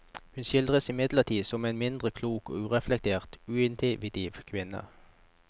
Hun skildres imidlertid som en mindre klok og ureflektert, intuitiv kvinne.